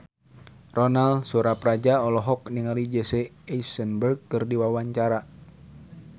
Ronal Surapradja olohok ningali Jesse Eisenberg keur diwawancara